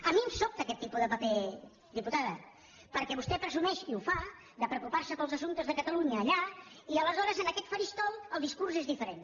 a mi em sobta aquest tipus de paper diputada perquè vostè presumeix i ho fa de preocupar se pels assumptes de catalunya allà i aleshores en aquest faristol el discurs és diferent